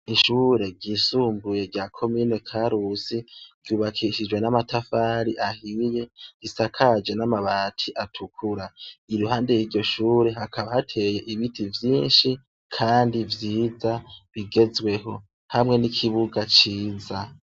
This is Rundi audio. Ishure ryisumbuye rya komine Karusi ryubakishijwe n'amatafari ahiye, risakaje n'amabati atukura. Iruhande y'iryo shure hakaba hateye ibiti vyinshi kandi vyiza bigezweho hamwe n'ikibuga ciza.